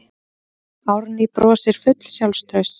Árný brosir full sjálfstrausts.